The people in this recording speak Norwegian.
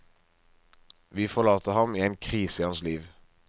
Vi forlater ham i en krise i hans liv.